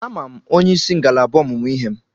Ama m onyeisi ngalaba ọmụmụ ihe m.